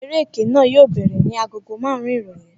Eré ẹkẹ náà yóò bẹ̀rẹ̀ ní agogo marun-un ìrọ̀lẹ́